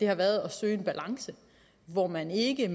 har været at søge en balance hvor man ikke